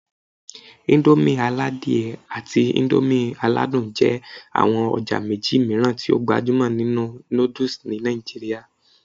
Indomie aladie àti Indomie aladun jẹ́ àwọn ọjà méjì mìíràn tí ó gbajúmọ̀ nínú noodles ní Nàìjíríà